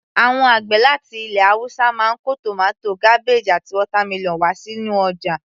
Àwọn àgbẹ̀ láti ilẹ̀ haúsá máa ń kó tomato, cabbage àti watermelon wá sínú ọjà